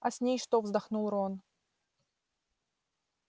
а с ней что вздохнул рон